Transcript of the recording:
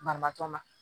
Banabaatɔ ma